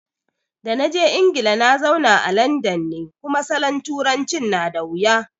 Da naje Ingila nazauna a landan ne, kuma salon turancin na dawuya